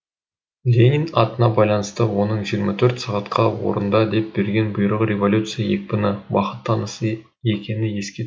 ленин атына байланысты оның жиырма төрт сағатқа орында деп берген бұйрығы революция екпіні уақыт тынысы екені еске